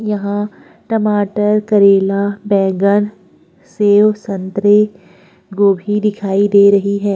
यहां टमाटर करेला बैंगन सेब संतरे गोभी दिखाई दे रही है।